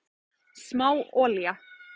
Smá olía